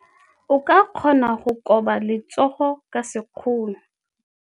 O ka kgona go koba letsogo ka sekgono.